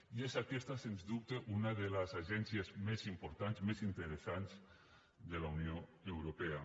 i és aquesta sens dubte una de les agències més importants més interessants de la unió europea